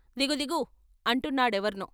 దిగుదిగు " అంటున్నా డెవర్నో.